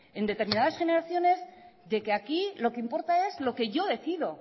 en determinadas generaciones de que aquí lo que importa es lo que yo decido